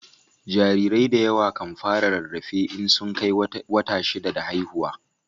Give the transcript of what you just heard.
Jarirai da yawa kan fara rarrafe in sun Kai wata shida da haihuwa